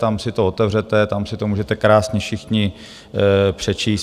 Tam si to otevřete, tam si to můžete krásně všichni přečíst.